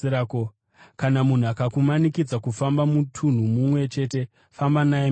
Kana munhu akakumanikidza kufamba mutunhu mumwe chete, famba naye miviri.